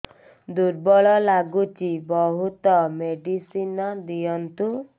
ଦୁର୍ବଳ ଲାଗୁଚି ବହୁତ ମେଡିସିନ ଦିଅନ୍ତୁ